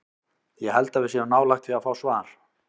Ég held að við séum nálægt því að fá svar.